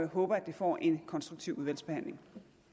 håber det får en konstruktiv udvalgsbehandling